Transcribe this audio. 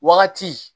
Wagati